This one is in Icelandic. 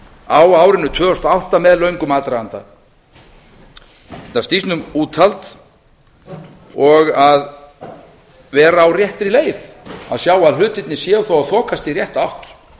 á árinu tvö þúsund og átta með löngum aðdraganda þetta snýst um úthald og að vera á réttri leið að sjá að hlutirnir séu þó að þokast í rétta átt